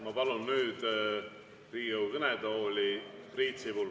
Ma palun nüüd Riigikogu kõnetooli Priit Sibula.